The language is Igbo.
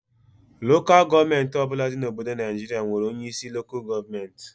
Lokal gọọmenti ọbụla dị na Obodo Naịjiria nwere onye isi Lokal gọọmenti